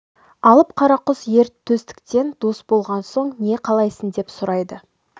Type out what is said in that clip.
алып қара құс ер төстікпен дос болған соң не қалайсың деп сұрайды